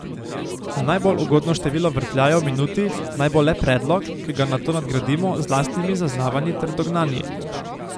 Najbolj ugodno število vrtljajev v minuti naj bo le predlog, ki ga nato nadgradimo z lastnimi zaznavanji ter dognanji.